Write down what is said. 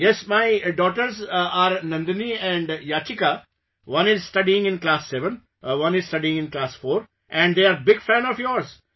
Yes, my daughters are Nandani and Yachika, one is studying in class 7, one is studying in class 4 and they are big fans of yours